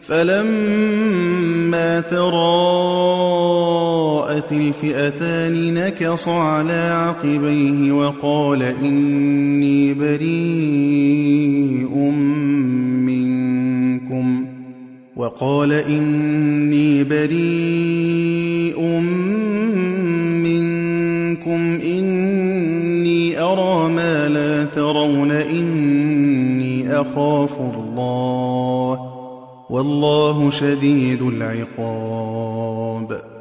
فَلَمَّا تَرَاءَتِ الْفِئَتَانِ نَكَصَ عَلَىٰ عَقِبَيْهِ وَقَالَ إِنِّي بَرِيءٌ مِّنكُمْ إِنِّي أَرَىٰ مَا لَا تَرَوْنَ إِنِّي أَخَافُ اللَّهَ ۚ وَاللَّهُ شَدِيدُ الْعِقَابِ